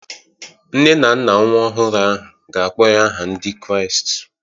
Nne na nna nwa ọhụrụ ahụ ga-akpọ ya aha Ndị Kraịst